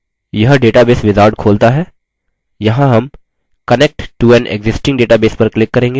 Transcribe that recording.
यहाँ हम connect to an existing database पर click करेंगे